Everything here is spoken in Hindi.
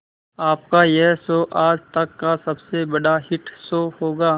आपका यह शो आज तक का सबसे बड़ा हिट शो होगा